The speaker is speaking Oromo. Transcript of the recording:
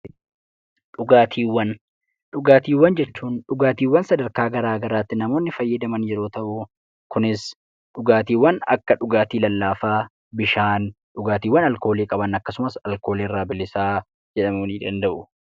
Dhugaatiiwwan jechuun dhugaatiiwwan sadarkaa garaa garaatti namoonni fayyadaman yeroo ta'u, kunis dhugaatiiwwan akka dhugaatii lallaafaa, bishaan, dhugaatiiwwan alkoolii qaban akkasumas alkoolii irraa bilisaa jedhamuu ni danda'u.